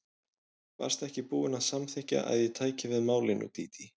Varstu ekki búin að samþykkja að ég tæki við málinu, Dídí?